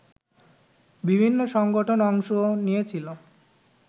বিভিন্ন সংগঠন অংশ নিয়েছিল